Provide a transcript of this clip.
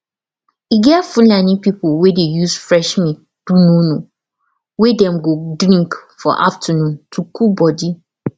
e get fulani people wey dey use fresh milk do nono wey dem go drink for afternoon to cool body